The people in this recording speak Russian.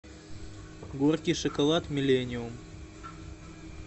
горький шоколад миллениум